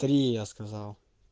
три я сказал